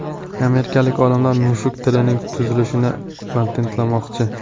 Amerikalik olimlar mushuk tilining tuzilishini patentlamoqchi.